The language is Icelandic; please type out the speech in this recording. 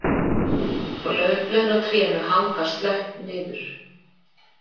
Og laufblöðin á trénu hanga slöpp niður